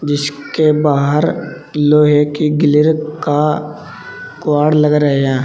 जिसके बाहर लोहे की ग्लिर् का कवॉड़ लग रहे हैं।